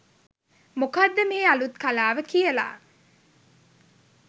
මොකක්ද මේ අලුත් කලාව කියලා.